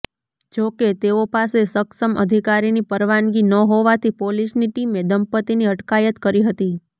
જો કે તેઓ પાસે સક્ષમ અધિકારીની પરવાનગી ન હોવાથી પોલીસની ટીમે દંપતિની અટકાયત કરી હતી